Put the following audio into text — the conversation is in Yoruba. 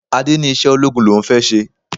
Adé ní iṣẹ́ ológun l'òun fẹ́ ṣe.